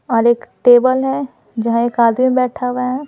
और एक टेबल है जहाँ एक आदमी बैठा हुआ है।